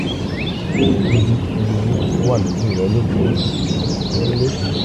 ohun dúdú tó dúdú tó wà lójú rẹ lè jẹ́ àgbá tó ń léfòó